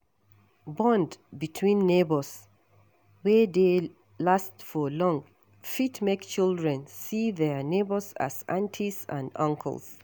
Bond between neighbours wey dey last for long fit make children see their neighbours as aunties and uncles